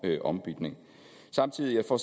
ombytning samtidig får